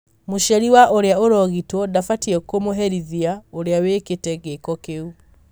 mũciari wa ũria ũrogitwo ndabatie kũmũherithia ũria wĩkĩte gĩko kĩu.